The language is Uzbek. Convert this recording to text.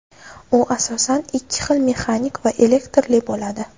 U asosan ikki xil mexanik va elektrli bo‘ladi.